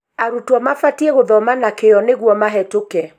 Arutwo mabatiĩ gũthoma na kĩo nĩguo mahetũke